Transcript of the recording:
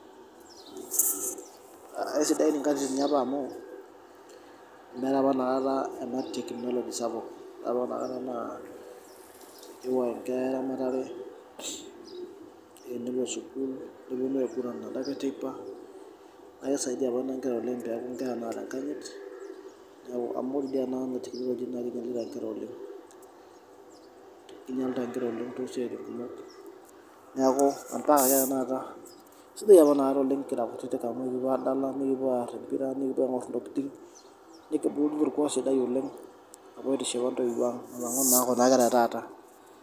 Eisidai nkatitin eapa amu ,meetae apa ena teknology sapuk .Ore apa keetae eramatare ,nepoi sukul ore teipa neponu aiguran .Naa kisaidia apa ina nkera oleng peeku nkera naata enkanyit. Amu indim anoto wejitin naa kinyalita nkera oleng, kinyalita nkera toosiatin kumok. Neeku sidai apa inakata kira kutitik amu ekiponu adala ,nikipuo aar empira, nikipuo aingor ntokiting. Nepuku orkuak sidai oleng aitiship ntoiwuo ang alangu naa Kuna kera etaata.